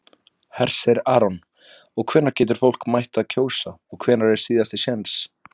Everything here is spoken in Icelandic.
Hersir Aron: Og hvenær getur fólk mætt að kjósa og hvenær er síðasti séns?